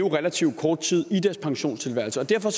en relativt kort pensionisttilværelse derfor